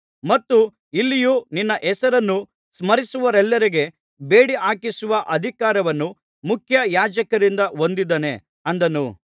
ಮತ್ತು ಇಲ್ಲಿಯೂ ನಿನ್ನ ಹೆಸರನ್ನು ಸ್ಮರಿಸುವವರೆಲ್ಲರಿಗೆ ಬೇಡಿಹಾಕಿಸುವ ಅಧಿಕಾರವನ್ನು ಮುಖ್ಯಯಾಜಕರಿಂದ ಹೊಂದಿದ್ದಾನೆ ಅಂದನು